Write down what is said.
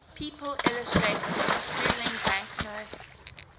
people illustrated on sterling banknotes